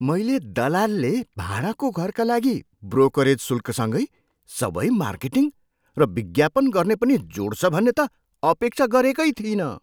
मैले दलालले भाडाको घरका लागि ब्रोकरेज शुल्कसँगै सबै मार्केटिङ र विज्ञापन गर्ने पनि जोड्छ भन्ने त अपेक्षा गरेकै थिइनँ।